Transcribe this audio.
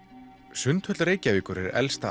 sundhöll Reykjavíkur er elsta